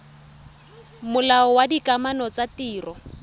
molao wa dikamano tsa ditiro